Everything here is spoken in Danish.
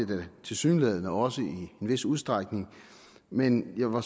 det tilsyneladende også i en vis udstrækning men jeg var